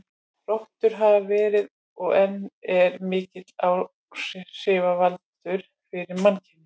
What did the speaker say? Rottur hafa verið, og eru enn, mikill áhrifavaldur fyrir mannkynið.